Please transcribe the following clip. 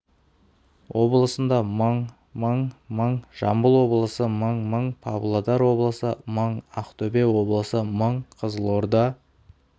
облысында мың мың мың жамбыл облысы мың мың павлодар облысы мың ақтөбе облысы мың қызылорда